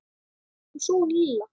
Og svo hún Lilla.